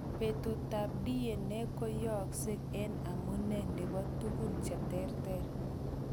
Butetab DNA koyokse en amune nebo tugun cheterter.